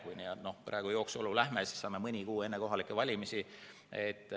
Kui praegu jooksujalu teeme, siis saame mõni kuu enne kohalikke valimisi teada.